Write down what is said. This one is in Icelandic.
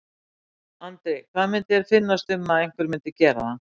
Andri: Hvað myndi þér finnast um að einhver myndi gera það?